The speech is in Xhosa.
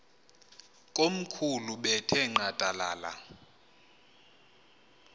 komkhulu bethe nqadalala